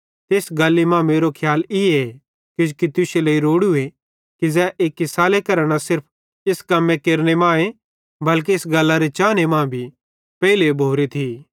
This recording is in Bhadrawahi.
ते इस गल्ली मां मेरो खियाल ईए किजोकि तुश्शे लेइ रोड़ूए ज़ै एक्की साले करां न सिर्फ इस कम्मे केरने मां बल्के इस गल्लरे चाने मां भी पेइले भोरे थी